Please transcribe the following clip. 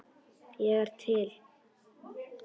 Ég er til.